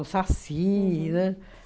O Saci, né?